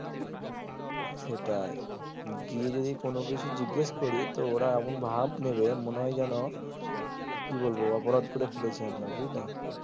সেটাই গিয়ে যদি কোনো কিছু জিজ্ঞেস করি তো ওরা এমন ভাব নেবে মনে হয় যেন কি বলবো অপরাধ করে ফেলেছি আমরা বুজলে